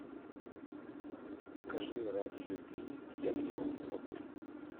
покажи ради любви я все смогу